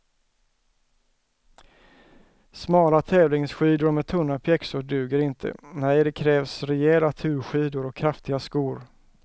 Smala tävlingsskidor med tunna pjäxor duger inte, nej det krävs rejäla turskidor och kraftiga skor.